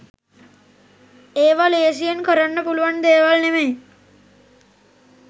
ඒව ලේසියෙන් කරන්න පුළුවන් දේවල් නෙමෙයි